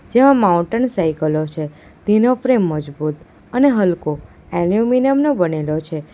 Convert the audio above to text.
જેમાં માઉન્ટેન સાયકલો છે તેનો ફ્રેમ મજબૂત અને હલકો એલ્યુમિનિયમ નો બનેલો છે.